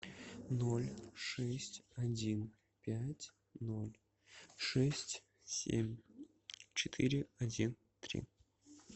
ноль шесть один пять ноль шесть семь четыре один три